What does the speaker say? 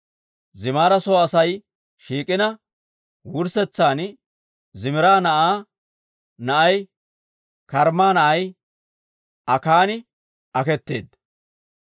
Zimira soo Asay shiik'ina, wurssetsan Zimira na'aa na'ay, Karmma na'ay Akaani aketeedda.